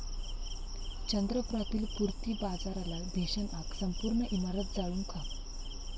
चंद्रपुरातील पूर्ती बाजारला भीषण आग, संपूर्ण इमारत जळून खाक